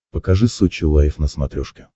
покажи сочи лайв на смотрешке